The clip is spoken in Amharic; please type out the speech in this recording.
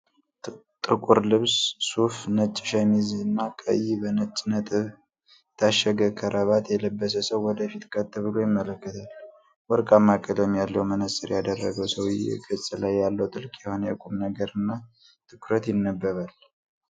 ጥቁር ልብስ (ሱፍ)፣ ነጭ ሸሚዝ እና ቀይ በነጭ ነጥብ የታሸገ ክራባት የለበሰ ሰው ወደፊት ቀጥ ብሎ ይመለከታል። ወርቃማ ቀለም ያለው መነፅር ያደረገው ሰውየው ገጽ ላይ ጥልቅ የሆነ የቁምነገር እና ትኩረት ይነበባል።